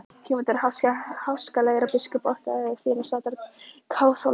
Tímarnir voru háskalegir og biskup óttaðist fyrirsát kaþólskra.